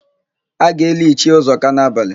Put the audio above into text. A ga-eli Ichie Ụzọka n'abalị.